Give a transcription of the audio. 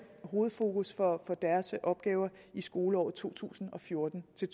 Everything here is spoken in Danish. hovedfokus for deres opgaver i skoleåret to tusind og fjorten til